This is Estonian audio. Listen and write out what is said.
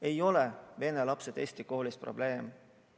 Ei ole vene lapsed eesti koolis probleem.